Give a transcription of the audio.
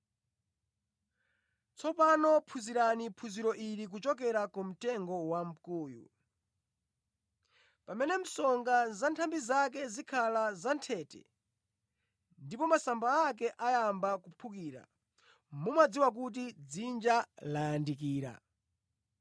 “Tsopano phunzirani phunziro ili kuchokera ku mtengo wamkuyu. Pamene msonga za nthambi zake zikhala za nthete ndipo masamba ake ayamba kuphukira, mumadziwa kuti dzinja layandikira.